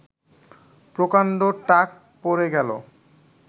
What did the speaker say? প্রকাণ্ড টাক পড়ে গেল